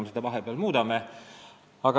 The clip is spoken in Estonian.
Me nüüd seda muudame.